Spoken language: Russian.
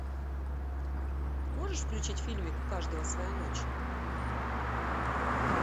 можешь включить фильмик у каждого своя ночь